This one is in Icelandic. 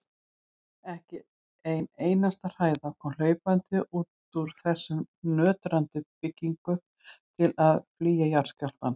Ekki ein einasta hræða kom hlaupandi út úr þessum nötrandi byggingum til að flýja jarðskjálftann.